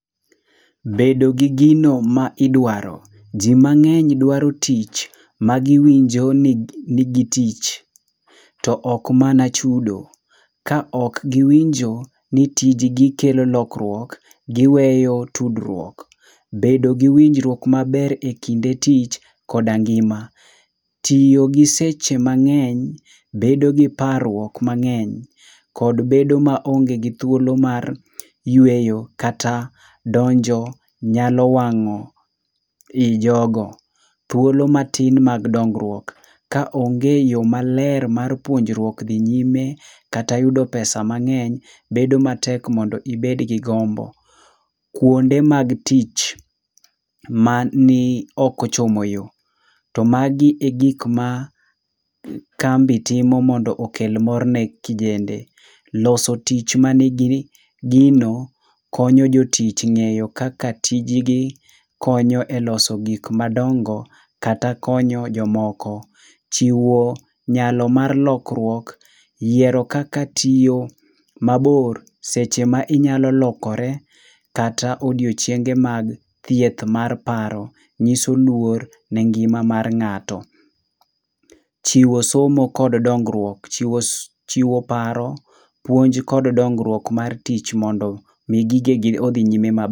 Bedo gi gino ma idwaro. Ji mang'eny dwaro tich magiwinjo ni nigi tich to ok mana chudo. Kaok giwinjo ni tij gi kelo lokruok giweyo tudruok. Bedo gi winjruok maber ekinde tich koda ngima. Tiyo gi seche mang'eny, bedo gi parruok mang'eny kod bedo maonge gi thuolo mar yweyo kata donjo nyalo wang'o i jogo. Thuolo matin mag dongruok. Ka onge yo maler mar puonjruok dhi nyime, kata yudo pesa mang'eny, bedo matek mondo ibed gi gombo. Kuonde mag tich mani ok ochomo yo. To magi egik ma kambi timo mondo okel mor ne kijende. Loso tich mani gi gino, konyo jo tich ng'eyo kaka tij gi konyo e loso gik madongo, kata konyo jomoko. Chiwo nyalo mar lokruok, yiero kaka tiyo mabor seche ma inyalo lokore kata odiechienge mag thieth mar paro, nyiso luor ne ngima mar ng'ato. Chiwo somo kod dongruok. Chiwo si chiwo paro, puonj kod dongruok mar tich mondo mi gigegi odhi nyime mab..